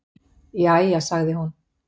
Jæja sagði hún.